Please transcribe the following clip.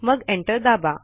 मग एंटर दाबा